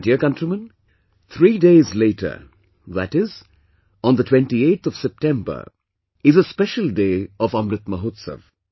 My dear countrymen, three days later, that is, on the 28th of September, is a special day of Amrit Mahotsav